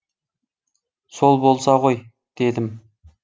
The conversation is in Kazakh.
сол болса ғой дедім